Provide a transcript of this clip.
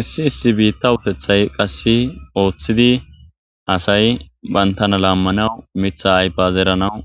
Issi issi bitta uttethay qasse othidi bantana lamanawu Mitha ayfiya zeranaw